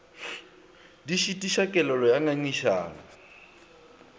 di šitiša kelelo ya ngangišano